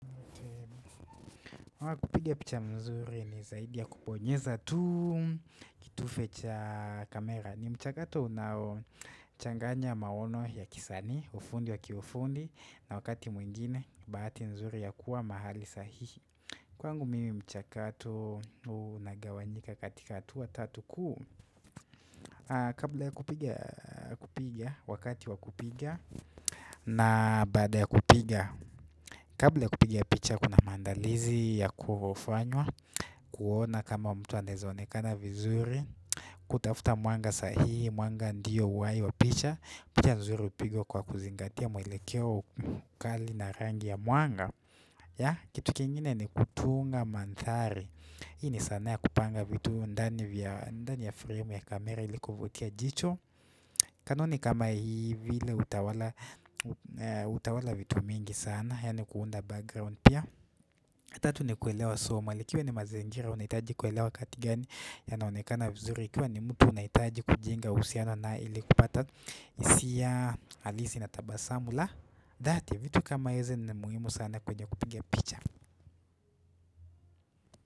Kupiga picha mzuri ni zaidi ya kubonyeza tu kitufe cha kamera. Ni mchakato unao changanya maono ya kisanii ufundi wa kiufundi na wakati mwingine bahati mzuri ya kuwa mahali sahihi kwangu mimi mchakato unagawanyika katika hatua tatu kuu. Kabla ya kupiga, wakati wa kupiga na baada ya kupiga. Kabla ya kupiga picha kuna maandalizi ya kufanywa kuona kama mtu anaweza onekana vizuri, kutafuta mwanga sahihi. Mwanga ndiyo uhai wa picha. Picha nzuri hupigwa kwa kuzingatia mwelekeo, ukali na rangi ya mwanga kitu kingine ni kutunga mandhari. Hii ni sanaa ya kupanga vitu ndani ndani ya frame ya kamera ili kuvutia jicho kanuni kama hii vile hutawala vitu mingi sana yaani ni kuunda background pia tatu ni kuelewa somo likiwa ni mazingira unahitaji kuelewa kati gani yanaonekana vizuri, likiwa ni mtu unahitaji kujenga uhusiano naye ili kupata hisia halisi na tabasamu la dhati. Vitu kama hizi ni muhimu sana kwenye kupiga picha.